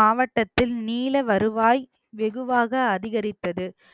மாவட்டத்தில் நீல வருவாய் வெகுவாக அதிகரித்தது